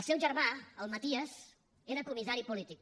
el seu germà el maties era comissari polític